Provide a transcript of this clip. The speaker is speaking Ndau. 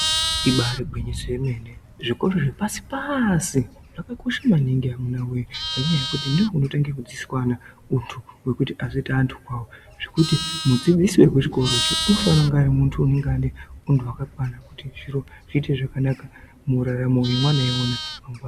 Ibari gwinyiso yemene. Zvikoro zvepasi-pasi zvakakosha maningi amuna wee ngenyaya yekuti ndokunotanga kudzidziswa ana untu hwekuti azoita antu kwawo zvekuti mudzidzisi wekuzvikoro izvi unofana kunge pane hunhu hwakakwana kuti zviro zviite zvakanaka muraramo yevana ivona.